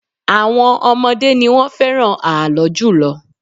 Àwọn ọmọdé ni wọ́n fẹ́ràn ààlọ́ jùlọ